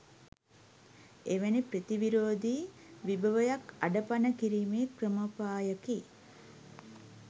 එවැනි ප්‍රතිවිරෝධී විභවයක් අඩපණ කිරීමේ ක්‍රමෝපායකි